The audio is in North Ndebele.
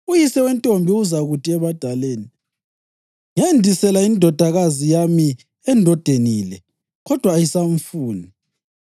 Uyise wentombi uzakuthi ebadaleni, ‘Ngendisela indodakazi yami endodeni le, kodwa ayisamfuni.